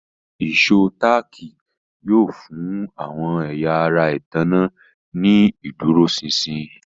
Ìṣó táàkì yóò fún àwọn ẹ̀yà ara ìtanná ní ìdúróṣinṣin